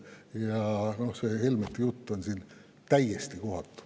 Ja see Helmete jutt on siin täiesti kohatu.